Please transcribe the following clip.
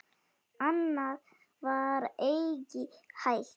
Annað var eigi hægt.